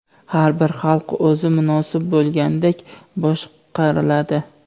"Har bir xalq o‘zi munosib bo‘lganidek boshqariladi".